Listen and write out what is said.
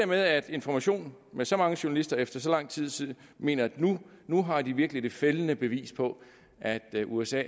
med at information med så mange journalister efter så lang tid tid mener at nu har de virkelig det fældende bevis på at usa